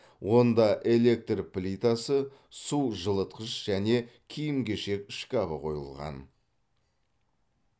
онда электр плитасы су жылытқыш және киім кешек шкабы қойылған